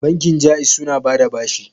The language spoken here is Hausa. Bankin Ja'iz suna ba da bashi.